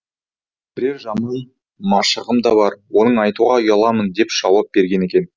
бірер жаман машығым да бар оны айтуға ұяламын деп жауап берген екен